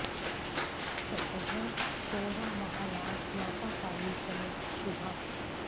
ततः पौरा महाराज माता काली च मे शुभा